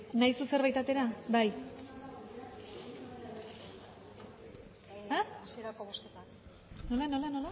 nahi duzu zerbait atera bai nola